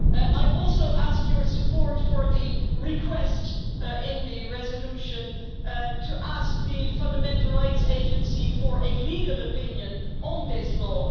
I also ask for your support for the request in the resolution to ask the Fundamental Rights Agency for a legal opinion on this law.